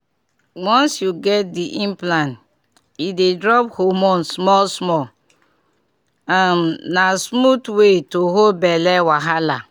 once you get the implant e dey drop hormone small-small — um na smooth way to hold belle wahala.